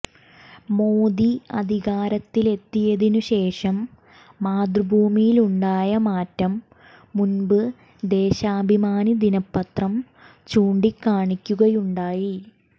മോദി അധികാരത്തിലെത്തിയതിനു ശേഷം മാതൃഭൂമിയിലുണ്ടായ മാറ്റം മുമ്പ് ദേശാഭിമാനി ദിനപ്പത്രം ചൂണ്ടിക്കാണിക്കുകയുണ്ടായി